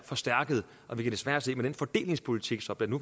forstærket og vi kan desværre se at med den fordelingspolitik som den